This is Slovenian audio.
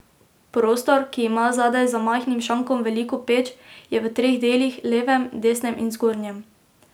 Prostor, ki ima zadaj za majhnim šankom veliko peč, je v treh delih, levem, desnem in zgornjem.